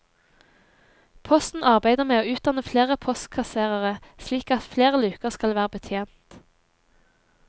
Posten arbeider med å utdanne flere postkasserere, slik at flere luker skal være betjent.